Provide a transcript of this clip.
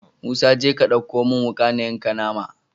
Musa jeka ka ɗauko mun wuka na yanka nama